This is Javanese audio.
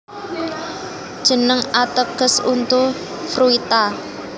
Jeneng ateges untu Fruita